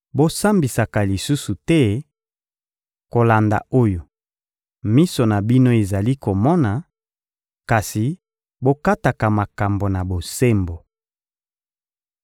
Bosambisaka lisusu te kolanda oyo miso na bino ezali komona, kasi bokataka makambo na bosembo.